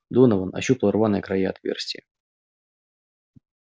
донован ощупал рваные края отверстия